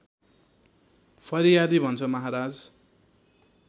फरियादी भन्छ महाराज